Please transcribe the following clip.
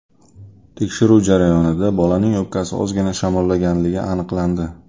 Tekshiruv jarayonida bolaning o‘pkasi ozgina shamollaganligi aniqlandi.